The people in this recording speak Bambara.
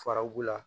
Fara u la